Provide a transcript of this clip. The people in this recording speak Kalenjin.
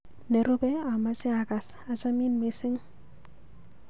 Nerupe amache akas ,'Achamin missing.'